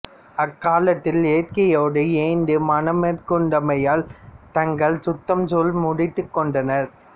அக்காலத்தில் இயற்கையோடு இயைந்த மணம் மேற்கொண்டமையால் தங்கள் சுற்றாம் சூழ முடித்துக் கொண்டனர்